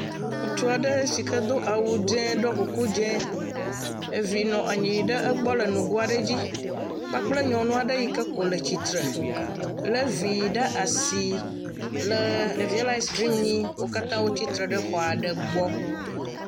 Ŋutsu aɖe si ke do awu dzɛ̃, ɖɔ kuku dzɛ̃, vi nɔ anyi ɖe egbɔ le nugo aɖe dzi kpakple nyɔnu aɖe yi ke ko le tsitre lé vi ɖe asi. Ɖevia le askrim nyim wo katã wotsi tre ɖe xɔ aɖe gbe.